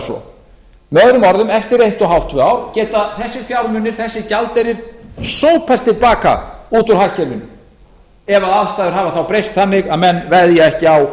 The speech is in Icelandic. svo möo eftir eitt hálf til tvö ár geta þessir fjármunir þessi gjaldeyrir sópast til baka út úr hagkerfinu ef aðstæður hafa þá breyst þannig að menn veðja ekki á